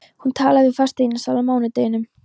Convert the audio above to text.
Hún talaði við fasteignasala á mánudeginum.